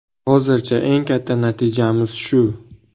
Hozircha eng katta natijamiz shu.